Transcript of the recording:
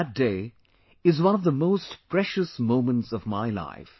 That day is one of the most precious moments of my life